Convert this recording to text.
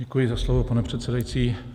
Děkuji za slovo, pane předsedající.